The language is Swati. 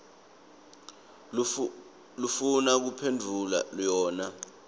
lofuna kuphendvula yona